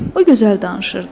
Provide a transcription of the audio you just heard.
O gözəl danışırdı.